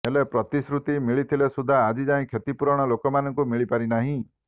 ହେଲେ ପ୍ରତିଶ୍ରୁତି ମିଳିଥିଲେ ସୁଦ୍ଧା ଆଜି ଯାଏଁ କ୍ଷତିପୂରଣ ଲୋକମାନଙ୍କୁ ମିଳିପାରି ନାହିଁ